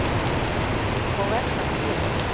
Og vex af því.